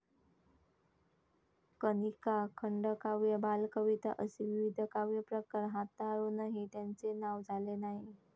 कनिका, खंडकाव्य बालकविता असे विविध काव्यप्रकार हाताळुनही त्यांचे नाव झाले नाही.